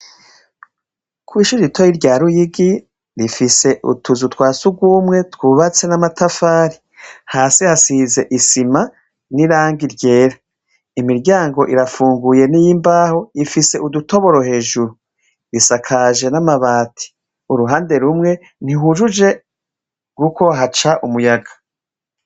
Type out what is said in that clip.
Kwishije itoyi rya ruyigi rifise utuzu twa si ugwumwe twubatse n'amatafari hasi hasize isima n'irange ryera imiryango irafunguye n'iyo imbaho ifise udutoboro hejuru risakaje n'amabati uruhande rumwe ntihujuje, kuko haca umuyaga.